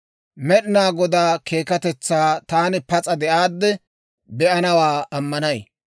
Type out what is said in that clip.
Med'inaa Godaa keekkatetsaa taani pas'a de'aadde be'anawaa ammanay.